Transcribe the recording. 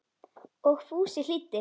Og Fúsi hlýddi.